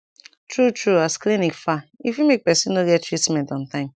tru tru as clinic far e fit make person no get treatment on tym.